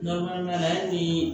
Dɔ mana di